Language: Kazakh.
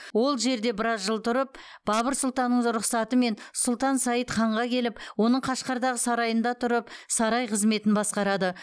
ол жерде біраз жыл тұрып бабыр сұлтанның рұқсатымен сұлтан саид ханға келіп оның қашқардағы сарайында тұрып сарай қызметін басқарады